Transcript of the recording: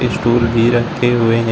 Stool भी रखे हुए हैं।